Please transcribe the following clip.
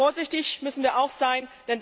Vorsichtig müssen wir auch sein.